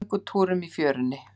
Göngutúrum í fjörunni?